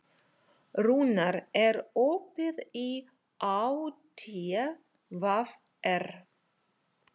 Rúnar, er opið í ÁTVR?